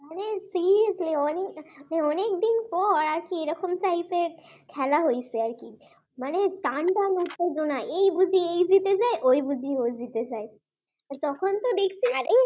অনেকদিন পর অনেকদিন পর একটা এরকম type এর খেলা হয়েছে আর কি, টানটান উত্তেজনা এই ই বুঝি এই জিতে যায় ই বুঝি ওই জিতে যায়। তখন তো দেখছি আরে